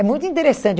É muito interessante.